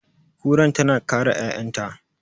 Kuran tana kare ƴa'ƴanta.